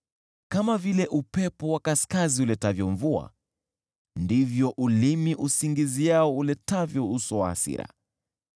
Kama vile upepo wa kaskazini uletavyo mvua, ndivyo ulimi usingiziao uletavyo uso wa hasira.